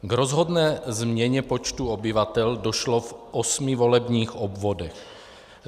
K rozhodné změně počtu obyvatel došlo v osmi volebních obvodech.